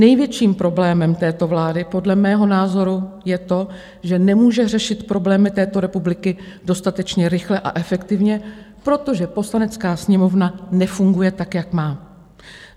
Největším problémem této vlády podle mého názoru je to, že nemůže řešit problémy této republiky dostatečně rychle a efektivně, protože Poslanecká sněmovna nefunguje, tak jak má.